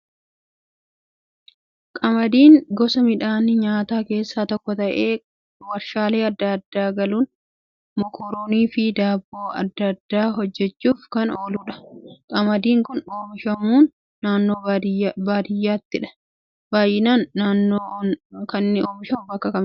Qamadiin gosa midhaan nyaataa keessaa tokko ta'ee warshaalee adda addaa galuun mokoroonii fi daabboo adda addaa hojjachuuf kan ooludha. Qamadiin kan oomishamu naannoo baaiyyaattidha baay'inaan. Naannoon inni oomishamu bakka akkamiiti?